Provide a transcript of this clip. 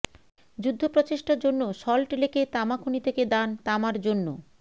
যুদ্ধ প্রচেষ্টার জন্য সল্ট লেকের তামা খনি থেকে দান তামার জন্য